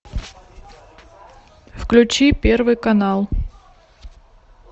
включи первый канал